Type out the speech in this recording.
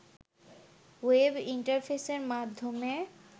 web ইন্টারফেসের মাধ্যমে